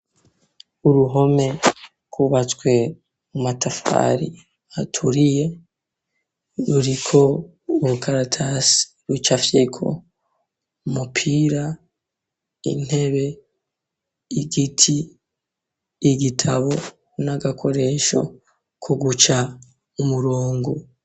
Uruhome rwubatswe namatafari aturiye, ruriko urukaratasi rucafyeko umupira intebe, igiti, igitabo, n'agakoresho ku guca umurongo.